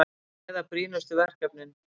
Ræða brýnustu verkefnin